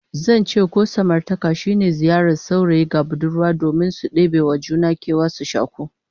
Zance ko samartaka shine ziyarar saurayi ga budurwa domin su debe wa juna kewa, su shaku